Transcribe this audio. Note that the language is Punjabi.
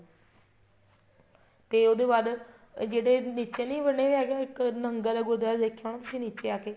ਤੇ ਉਹਦੇ ਬਾਅਦ ਜਿਹੜੇ ਨੀਚੇ ਨਹੀਂ ਬਣੇ ਹੈਗੇ ਇੱਕ ਨਹਿੰਗਾ ਦਾ ਗੁਰੂਦੁਆਰਾ ਸਾਹਿਬ ਤੁਸੀਂ ਦੇਖਿਆ ਹੋਣਾ ਨੀਚੇ ਆਕੇ